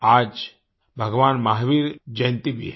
आज भगवान महावीर जयंती भी है